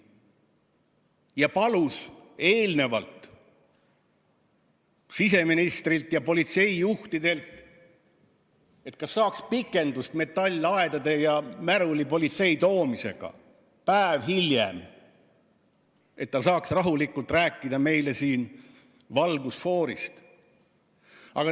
Ja palus enne siseministrilt ja politseijuhtidelt, kas saaks metallaedade ja märulipolitsei toomise päeva võrra edasi lükata, et ta saaks rahulikult meile siin valgusfoorist rääkida.